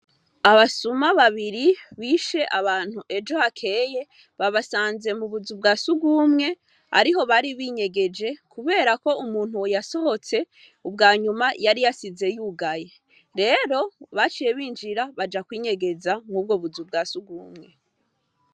Abasuma babiri bishe abantu ejo hakeye, babasanze mu buzu bwa sugumwe ariho bari binyegeje kuberako umuntu yasohotse ubwanyuma yari yasize yugaye. Rero baciye binjira, baja kwinyegeza mw'ubwo buzu bwa sugumwe.